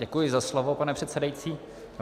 Děkuji za slovo, pane předsedající.